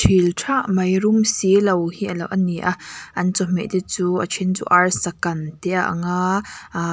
ilh tha mai rum silo hi a lo a ni a an chawhmeh te chu a then chu arsa kan te ang a aaa--